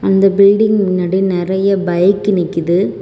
இந்த பில்டிங் முன்னாடி நிறைய பைக் நிக்குது.